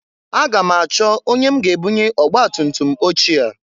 Aga m achọ onye m ga ebunye ọgbatutum ochie a.